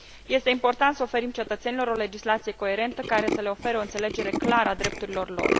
Este important să oferim cetățenilor o legislație coerentă, care să le ofere o înțelegere clară a drepturilor lor.